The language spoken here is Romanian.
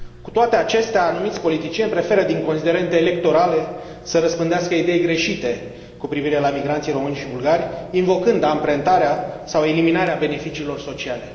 Cu toate acestea, anumiți politicieni preferă, din considerente electorale, să răspândească idei greșite cu privire la migranții români și bulgari, invocând amprentarea sau eliminarea beneficiilor sociale.